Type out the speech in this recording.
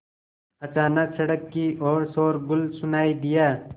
अचानक सड़क की ओर शोरगुल सुनाई दिया